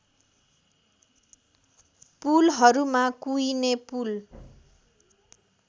पुलहरूमा कुइने पुल